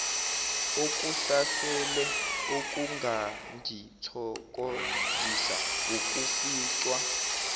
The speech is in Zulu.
okusasele okungangithokozisa wukuficwa